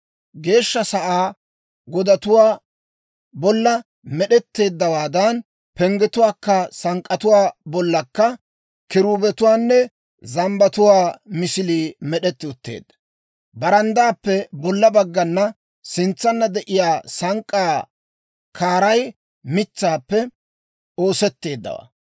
Geeshsha Sa'aa godatuwaa bolla med'etteeddawaadan, penggetuwaa sank'k'atuwaa bollakka kiruubetuwaanne zambbatuwaa misilii med'etti utteedda. Baranddaappe bolla baggana sintsanna de'iyaa sank'k'aa kaaray mitsaappe oosetteeddawaa.